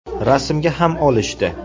Rasmga ham olishdi.